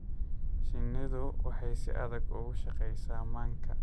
Shinnidu waxay si adag uga shaqeysaa manka.